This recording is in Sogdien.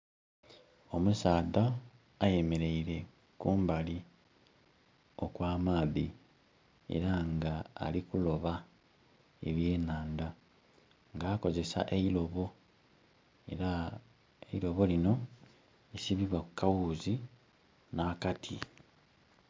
Omusaadha ayemeleire kumbali okw'amaadhi. Era nga ali kuloba ebyenhanda, nga akozesa eilobo. Era eilobo lino lisibibwa ku kaghuuzi nh'akati.